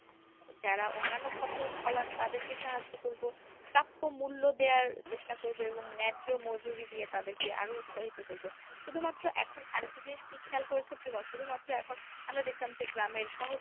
যারা অন্যান্য ফসল ফলান তাদেরকে সাহায্য করবো প্রাপ্য মূল্য দেয়ার চেষ্টা করবো এবং নায্য মজুরি দিয়ে তাদেরকে আরো উৎসাহিত করবো। শুধুমাত্র এখন আরেকটা জিনিস কী খেয়াল করেছো প্রিমো? শুধুমাত্র এখন আমরা দেখতাম যে গ্রামের সহজ